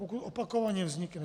Pokud opakovaně vznikne.